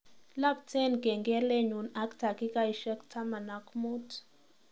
Iapten kengelenyu ak takikaishek taman ak muut